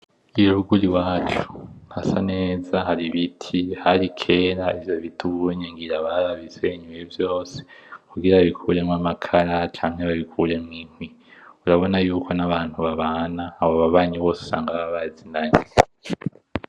Iyo ruguru iwacu hasa neza hari ibiti, hari kera ivyo biti ubunye ngira barabisenye vyose kugira bikuremwo amakara canke babikuremwo inkwi, urabona yuko abantu babana, abo babanyi bose usanga baba bazinanye.